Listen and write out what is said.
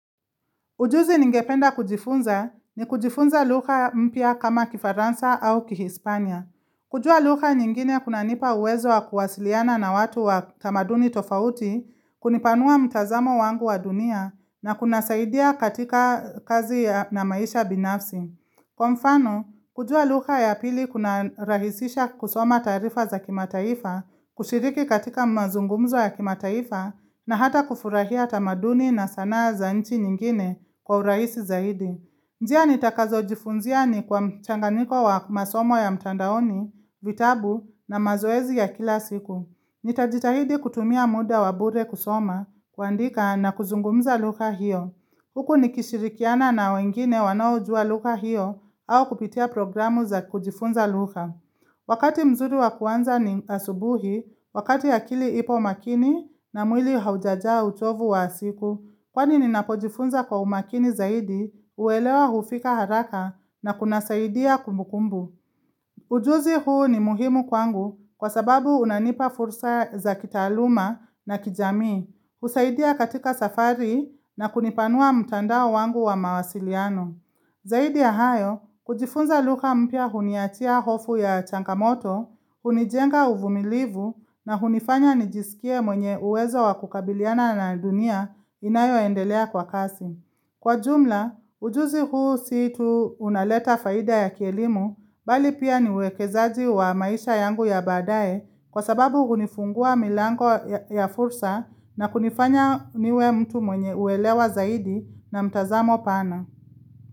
Ujuzi ningependa kujifunza ni kujifunza lugha mpya kama kifaransa au kihispania. Kujua lugha nyingine kunanipa uwezo wa kuwasiliana na watu wa tamaduni tofauti, kunipanua mtazamo wangu wa dunia na kunasaidia katika kazi na maisha binafsi. Kwa mfano, kujua lugha ya pili kunarahisisha kusoma taarifa za kimataifa, kushiriki katika mazungumzo ya kimataifa na hata kufurahia tamaduni na sanaa za nchi nyingine kwa urahisi zaidi. Njia nitakazojifunzia ni kwa mchanganyiko wa masomo ya mtandaoni, vitabu na mazoezi ya kila siku. Nitajitahidi kutumia muda wa bure kusoma kuandika na kuzungumza lugha hiyo. Huku nikishirikiana na wengine wanaoujua lugha hiyo au kupitia programu za kujifunza lugha. Wakati mzuri wa kuanza ni asubuhi, wakati akili ipo makini na mwili haujajaa uchovu wa siku, kwani ninapojifunza kwa umakini zaidi, huelewa hufika haraka na kunasaidia kumbukumbu. Ujuzi huu ni muhimu kwangu kwa sababu unanipa fursa za kitaaluma na kijamii. Kusaidia katika safari na kunipanua mtandao wangu wa mawasiliano Zaidi ya hayo, kujifunza lugha mpya huniachia hofu ya changamoto hunijenga uvumilivu na hunifanya nijisikie mwenye uwezo wa kukabiliana na dunia inayoendelea kwa kasi Kwa jumla, ujuzi huu si tu unaleta faida ya kielimu bali pia ni uwekezaji wa maisha yangu ya badae kwa sababu hunifungua milango ya fursa na kunifanya niwe mtu mwenye uelewa zaidi na mtazamo pana.